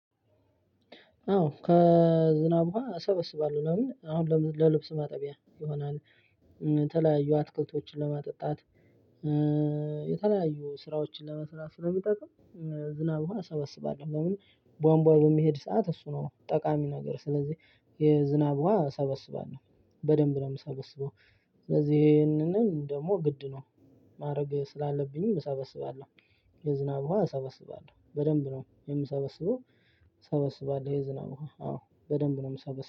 አዎ ከዝናብ ውሃ እሰበስባለሁ ለምን አሁን ለልብስ ማጠቢያ ይሆናል። የተለያዩ አትክልቶችን ለማጠጣት የተለያዩ ስራዎችን ለመስራት ስለሚጠቅም። ዝናብ ውሃ እሰበስባለሁ። ለምን ቧንቧ በሚሄድ ሰዓት እሱ ነው ጠቃሚ ነገር ስለዚህ የዝናብ ውሃ እሰበስባለሁ። በደንብ ነው የምሰበስበው። ስለዚህ ይሄንንም ደግሞ ግድ ነው ማድረግ ስላለብኝምዠ እሰበስባለሁ። የዝናብ ውሃ እሰበስባለሁ በደንብ ነው የምሰበስበው። እሰበስባለሁ የዝናብ ውሃ አዎ በደንብ ነው የምሰበሰበው